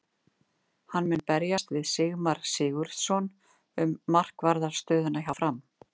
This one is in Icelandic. Hann mun berjast við Sigmar Sigurðarson um markvarðar stöðuna hjá Fram.